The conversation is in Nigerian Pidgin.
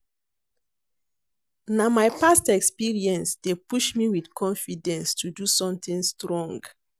Na my past experience dey push me with confidence to do something strong.